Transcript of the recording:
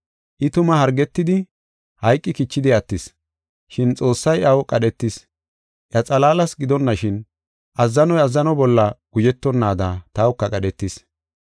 I tuma hargetidi, hayqi kichidi attis. Shin Xoossay iyaw qadhetis. Iya xalaalas gidonashin, azzanoy azzano bolla guzhetonnaada tawuka qadhetis.